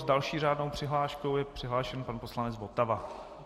S další řádnou přihláškou je přihlášen pan poslanec Votava.